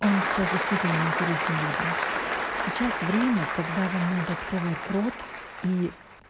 он сейчас интересно людям сейчас время когда вам надо открывать рот и